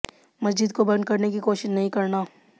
मस्जिद को बंद करने की कोशिश नहीं करना